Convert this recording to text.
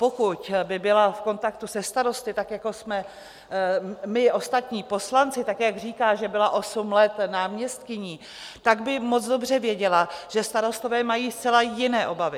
Pokud by byla v kontaktu se starosty - tak jako jsme my ostatní poslanci, tak jak říká, že byla osm let náměstkyní - tak by moc dobře věděla, že starostové mají zcela jiné obavy.